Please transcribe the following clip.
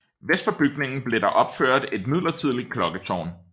Vest for bygningen blev der opført et midlertidigt klokketårn